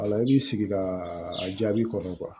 Wala i b'i sigi ka a jaabi kɔnɔ